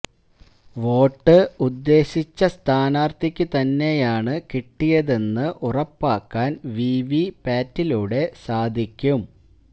vote ഉദ്ദേശിച്ച സ്ഥാനാർത്ഥിയ്ക്കു തന്നെയാണ് കിട്ടിയതെന്ന് ഉറപ്പാക്കാൻ വി വി പാറ്റിലൂടെ സാധിക്കും